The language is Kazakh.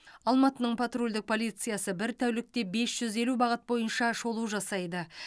алматының патрульдік полициясы бір тәулікте бес жүз елу бағыт бойынша шолу жасайды